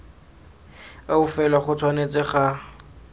eo fela go tshwanetse ga